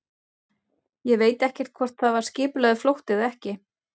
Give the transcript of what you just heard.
Ég veit ekkert hvort það var skipulagður flótti eða ekki.